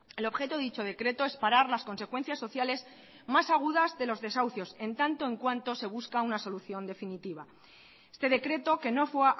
el objeto de dicho decreto es parar las consecuencias sociales más agudas de los desahucios en tanto en cuanto se busca una solución definitiva este decreto que no fue